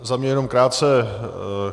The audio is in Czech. Za mě jenom krátce.